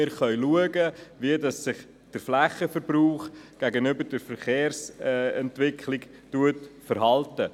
So könnten wir sehen, wie sich der Flächenverbrauch gegenüber der Verkehrsent- wicklung verhält.